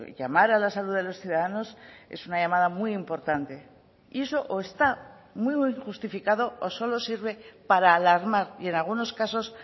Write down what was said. llamar a la salud de los ciudadanos es una llamada muy importante y eso o está muy justificado o solo sirve para alarmar y en algunos casos